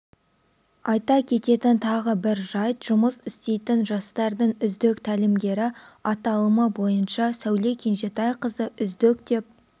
айта кететін тағы бір жайт жұмыс істейтін жастардың үздік тәлімгері аталымы бойынша сәуле кенжетайқызы үздік деп